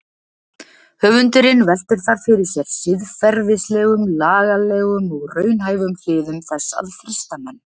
Höfundurinn veltir þar fyrir sér siðferðislegum, lagalegum og raunhæfum hliðum þess að frysta menn.